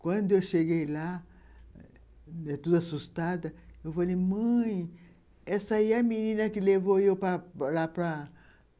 Quando eu cheguei lá, toda assustada, eu falei, mãe, essa aí é a menina que levou eu lá para para